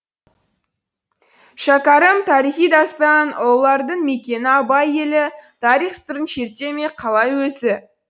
шәкәрім тарихи дастан ұлылардың мекені абай елі тарих сырын шерте ме қалай өзі